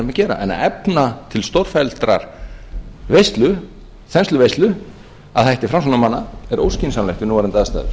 að gera en að efna til stórfelldrar veislu þensluveislu að hætti framsóknarmanna er óskynsamlegt við núverandi aðstæður